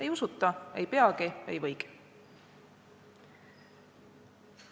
" Ei usuta, ei peagi, ei võigi.